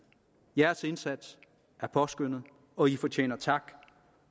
jeres indsats er påskønnet og i fortjener tak